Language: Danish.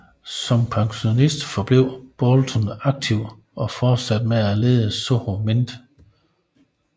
Som pensionist forblev Boulton aktiv og fortsatte med at lede Soho Mint